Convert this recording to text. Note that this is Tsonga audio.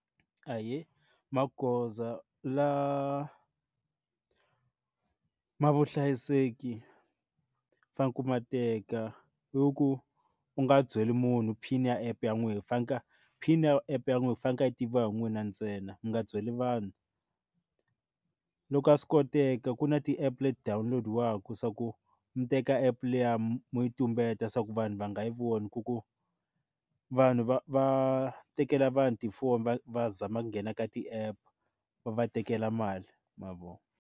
Ahee magoza la ma vuhlayiseki fane ku ma teka i ku u nga byeli munhu pin ya app ya n'wehe fanaka pin ya app ya n'wehe yi fanekele yi tiviwa hi n'wina ntsena mi nga byeli vanhu loko a swi koteka ku na ti app le ti-download-iwaku swa ku mi teka app liya mo yi tumbeta swa ku vanhu va nga yi voni ku ku vanhu va va tekela vanhu tifoni va va zama nghena ka ti app va va tekela mali mavona.